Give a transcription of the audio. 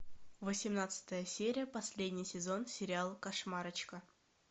восемнадцатая серия последний сезон сериала кошмарочка